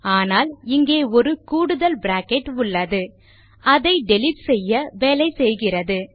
ஆனால் இங்கே ஒரு கூடுதல் பிராக்கெட் உள்ளது அதை டிலீட் செய்ய வேலை செய்கிறது